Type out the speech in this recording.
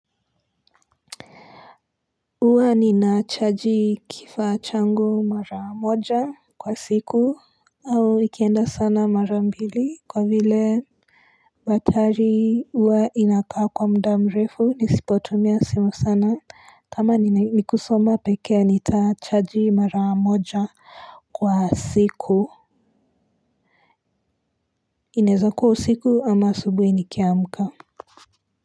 Huwa ninachaji kifaa changu mara moja kwa siku au ikienda sana mara mbili kwa vile batari uwa inakaa kwa mda mrefu nisipotumia simu sana. Kama ni kusoma pekea nitachaji mara moja kwa siku. Inaeza kuwa usiku ama asubui nikiamka.